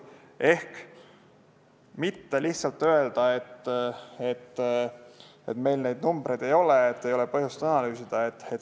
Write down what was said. Ehk ei tuleks mitte lihtsalt öelda, et meil neid numbreid ei ole ega ole põhjust analüüsida.